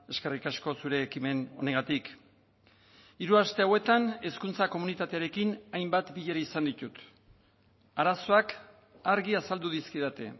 eskerrik asko zure ekimen honengatik hiru aste hauetan hezkuntza komunitatearekin hainbat bilera izan ditut arazoak argi azaldu dizkidate